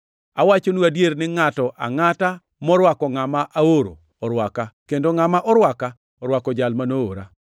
Awachonu adier, ni ngʼato angʼata morwako ngʼama aoro, orwaka, kendo ngʼama orwaka orwako jal ma noora.”